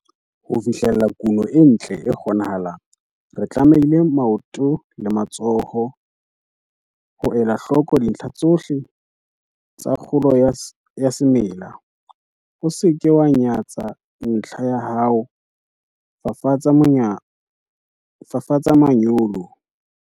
Ho fihlella kuno e ntle e kgonahalang, re tlamehile maoto le matsoho ho ela hloko dintlha tsohle tsa kgolo ya semela. O se ke wa nyatsa ntlha ya ho fafatsa manyolo.